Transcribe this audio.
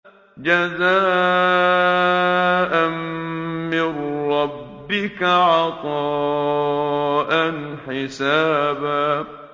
جَزَاءً مِّن رَّبِّكَ عَطَاءً حِسَابًا